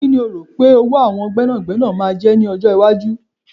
Kíni o rò pé owó àwọn gbẹ́nàgbẹ́nà máa jẹ́ ní ọjọ́ iwájú?